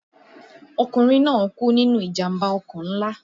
Ọkùnrin náà kú nínú ìjàmbá ọkọ̀ ńlá